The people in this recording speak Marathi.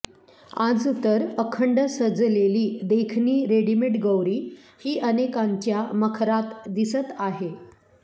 आज तर अखंड सजलेली देखणी रेडिमेट गौरी ही अनेकांच्या मखरात दिसत आहे